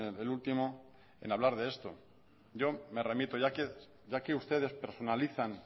el último en hablar de esto yo me remito ya que ustedes personalizan